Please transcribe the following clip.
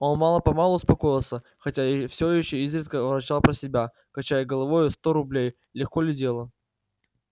он мало-помалу успокоился хотя всё ещё изредка ворчал про себя качая головою сто рублей легко ли дело